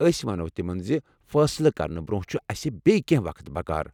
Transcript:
ٲسۍ ونَو تِمَن زِ فٲصلہٕ کرنہٕ برونٛہہ چھُ اَسہ بییٚہِ کینٛہہ وقت بکار۔